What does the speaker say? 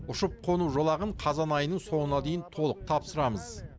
ұшып қону жолағын қазан айының соңына дейін толық тапсырамыз